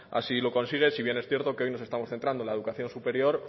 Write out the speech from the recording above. así lo consigue si bien es cierto que hoy nos estamos centrando en la educación superior